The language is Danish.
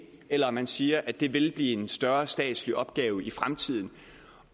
eller at man siger at det vil blive en større statslig opgave i fremtiden